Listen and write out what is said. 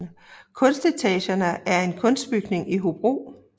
Kunstetagerne er en kunstbygning i Hobro